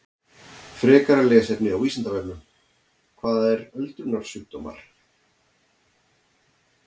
Frekara lesefni á Vísindavefnum: Hvað eru öldrunarsjúkdómar?